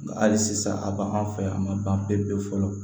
Nga hali sisan a b'an fɛ yan a man ban pepe fɔlɔ